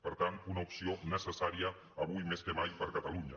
per tant una opció necessària avui més que mai per a catalunya